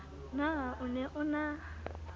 na o ne o na